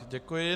Děkuji.